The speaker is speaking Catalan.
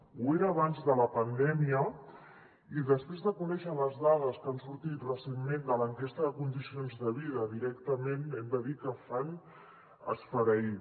ho era abans de la pandèmia i després de conèixer les dades que han sortit recentment de l’enquesta de condicions de vida directament hem de dir que fan esfereir